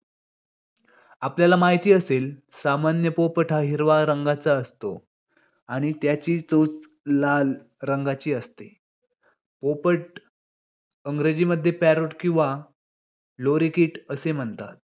आपल्याला माहिती असेल, सामान्य पोपट हा हिरवा रंगाचा असतो आणि त्याची चोच लाल रंगाची असते. पोपट अंग्रेजीमध्ये parrot किंवा lorikit असे म्हणतात.